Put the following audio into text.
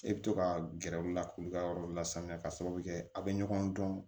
E bɛ to ka gɛrɛ u la k'u ka yɔrɔ lasanuya k'a sababu kɛ a bɛ ɲɔgɔn dɔn